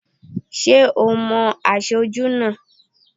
Ṣé ò mo aṣojú náà?